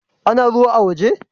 Ana ruwa a' woje?